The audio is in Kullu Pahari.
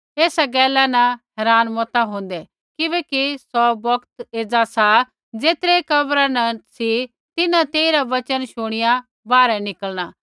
ऐसा गैला न हैरान मता हौन्दे किबैकि सौ बोक्त एज़ा सा ज़ेतरै कब्रा न सी तिन्हां तेइरा वचन शूणीऐ बाहरै निकलणा